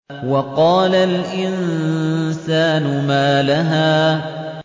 وَقَالَ الْإِنسَانُ مَا لَهَا